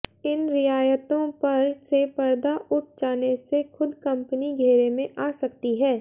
इन रियायतों पर से पर्दा उठ जाने से खुद कंपनी घेरे में आ सकती है